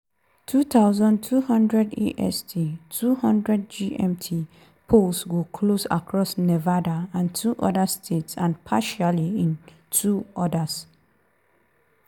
2200 est (0200 gmt) - polls go close across nevada and two oda states and partially in two others.